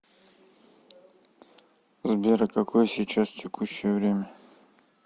сбер а какое сейчас текущее время